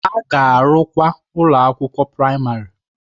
A ga-arụkwa ụlọ akwụkwọ praịmarị.